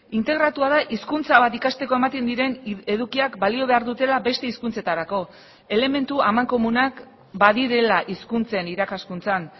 integratua da hizkuntza bat ikasteko ematen diren edukiak balio behar dutela beste hizkuntzetarako elementu amankomunak badirela hizkuntzen irakaskuntzan